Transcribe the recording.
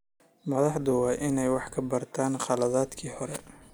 Madaxdu waa inay wax ka bartaan khaladaadkii hore.